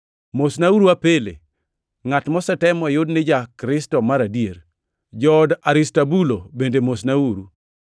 Mosnauru Apele, ngʼat mosetem moyud ni ja-Kristo mar adier. Jood Aristobulo bende mosnauru.